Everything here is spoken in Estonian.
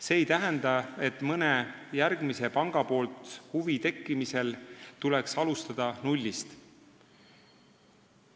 See ei tähenda, et mõne järgmise panga huvi tekkimisel tuleks alustada nullist.